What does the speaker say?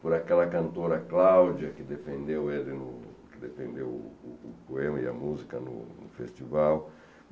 por aquela cantora Cláudia, que defendeu ele no defendeu o o poema e a música no festival.